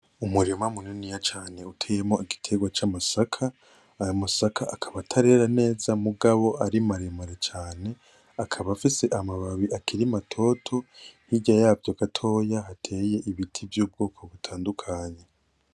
Umurima muniniya cane uteyemwo igiterwa c’amasaka, ayo masaka akaba atarera neza mugabo ari maremare cane , akaba afise amababi akiri matoto, hirya yavyo gatoya hateyemwo ibiti vy’ubwoko butandukanye .